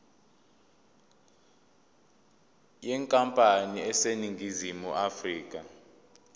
yenkampani eseningizimu afrika